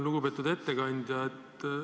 Lugupeetud ettekandja!